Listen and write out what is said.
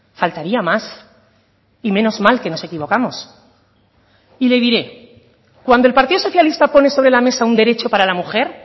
faltaría más y menos mal que nos equivocamos y le diré cuando el partido socialista pone sobre la mesa un derecho para la mujer